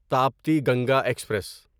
Tapti Ganga express